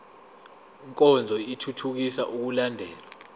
nkonzo ithuthukisa ukulandelwa